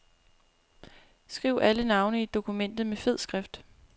Skriv alle navne i dokumentet med fed skrift.